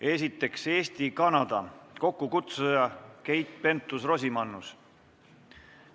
Esiteks, Eesti-Kanada, kokkukutsuja on Keit Pentus-Rosimannus.